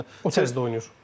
Yəni tez də oynayır.